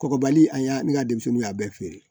Kɔgɔbali an y'a ne ka denmisɛnninw y'a bɛɛ feere